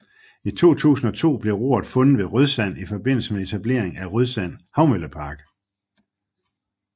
I 2002 blev roret fundet ved Rødsand i forbindelse med etablering af Rødsand Havmøllepark